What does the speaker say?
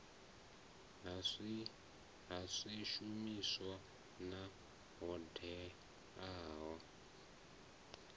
ha swishumiswa na hoddea ya